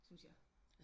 Syntes jeg